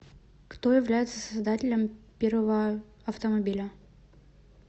кто является создателем первого автомобиля